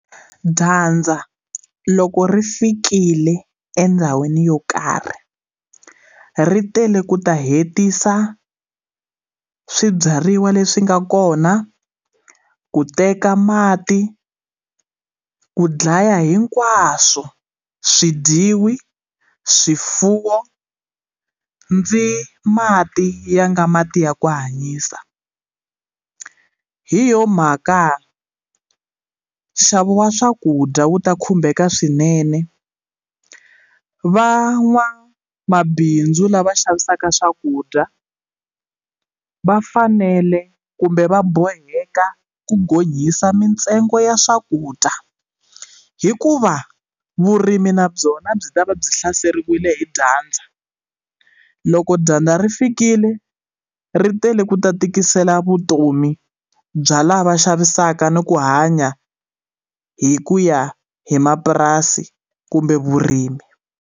Dyandza loko ri fikile endhawini yo karhi ri tele ku ta hetisa swibyariwa leswi nga kona ku teka mati ku dlaya hinkwaswo swi dyiwi swifuwo ndzi mati ya nga mati ya ku hanyisa hi yona mhaka nxavo wa swakudya wu ta khumbeka swinene van'wamabindzu lava xavisaka swakudya vafanele kumbe va boheka ku gonyisa mitsengo ya swakudya hi ku va vurimi na byona byi ta va byi hlaseriwile hi dyandza loko dyandza ri fikile ri tele ku ta tikisela vutomi bya lava xavisaka ni ku hanya hi ku ya hi mapurasi kumbe vurimi.